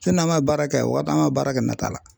n'an ma baara kɛ yan o an ka baara kɛ nata la